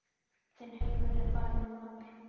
Þinn heimur er farinn maður.